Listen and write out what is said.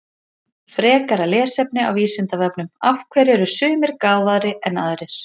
Frekara lesefni á Vísindavefnum Af hverju eru sumir gáfaðri en aðrir?